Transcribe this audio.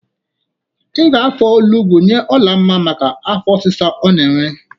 Ị ga-afọ onugbo nye Olamma maka afọ ọsisa ọ na-enwe.